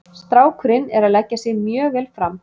Strákurinn er að leggja sig mjög vel fram.